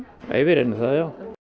nei við reynum það já